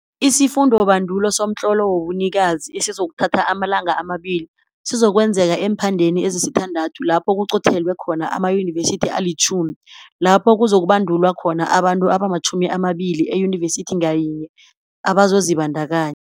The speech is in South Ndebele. Isifundobandulo somtlolo wobunikazi esizokuthatha amalanga ama-2 sizokwenzeka eemphandeni ezisithandathu lapho kuqothelwe khona amayunevesithi ali-10 lapho kuzokubandulwa khona abantu abama-20 eyinivesithi ngayinye abazozibandakanya.